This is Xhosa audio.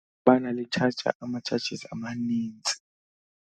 Kubana litshaja ama-charges amanintsi.